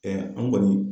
an kɔni